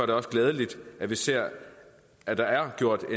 det også glædeligt at vi ser at der er gjort